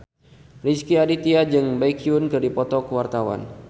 Rezky Aditya jeung Baekhyun keur dipoto ku wartawan